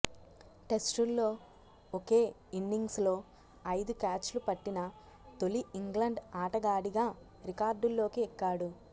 టెస్టుల్లో ఒకే ఇన్నింగ్స్లో ఐదు క్యాచ్లు పట్టిన తొలి ఇంగ్లండ్ ఆటగాడిగా రికార్డుల్లోకి ఎక్కాడు